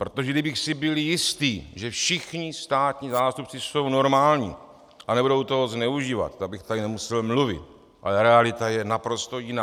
Protože kdybych si byl jistý, že všichni státní zástupci jsou normální a nebudou toho zneužívat, tak bych tady nemusel mluvit, ale realita je naprosto jiná.